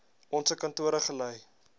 onse kantore gelei